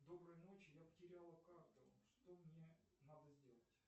доброй ночи я потеряла карту что мне надо сделать